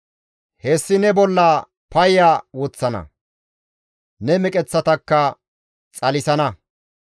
Hessi ne bollaa payya woththana; ne meqeththatakka xalisana.